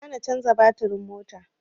Ba ra na canza batirin motar